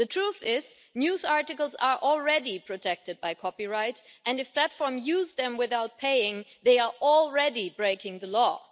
The truth is that news articles are already protected by copyright, and if platforms use them without paying they are already breaking the law.